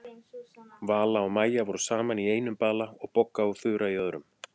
Vala og Maja voru saman í einum bala og Bogga og Þura í öðrum.